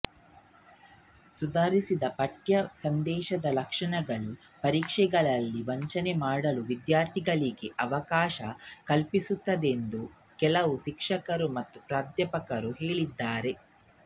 ಸುಧಾರಿಸಿದ ಪಠ್ಯ ಸಂದೇಶದ ಲಕ್ಷಣಗಳು ಪರೀಕ್ಷೆಗಳಲ್ಲಿ ವಂಚನೆ ಮಾಡಲು ವಿದ್ಯಾರ್ಥಿಗಳಿಗೆ ಅವಕಾಶ ಕಲ್ಪಿಸುತ್ತದೆಂದು ಕೆಲವು ಶಿಕ್ಷಕರು ಮತ್ತು ಪ್ರಾಧ್ಯಾಪಕರು ಹೇಳಿದ್ದಾರೆ